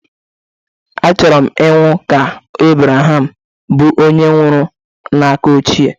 Achọrọ m ịnwụ dị ka Ebreham, bụ́ onye nwụrụ n'aka ochie